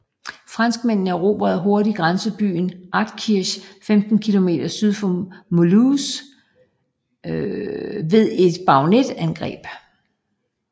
Franskmændene erobrede hurtigt grænsebyen Altkirch 15 km syd for Mulhouse ved et bajonetangreb